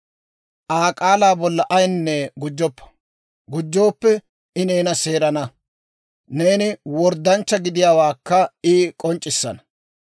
Aa k'aalaa bolla ayaanne gujjoppa; gujjooppe I neena seerana; neeni worddanchcha gidiyaawaakka I k'onc'c'issana.